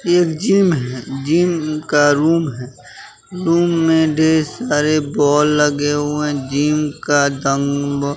ये जिम है जिम का रूम है रूम में डे सारे बोल लगे हुए जिम का दम्ब --